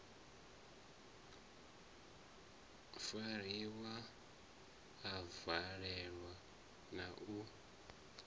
fariwa a valelwa na u